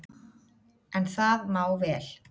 En það má vel,